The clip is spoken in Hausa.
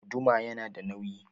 Guduma yana da nauyi